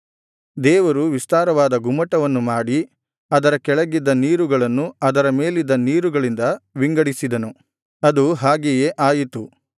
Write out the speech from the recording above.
ದೇವರು ವಿಸ್ತಾರವಾದ ಗುಮ್ಮಟವನ್ನು ಮಾಡಿ ಅದರ ಕೆಳಗಿದ್ದ ನೀರುಗಳನ್ನು ಅದರ ಮೇಲಿದ್ದ ನೀರುಗಳಿಂದ ವಿಂಗಡಿಸಿದನು ಅದು ಹಾಗೆಯೇ ಆಯಿತು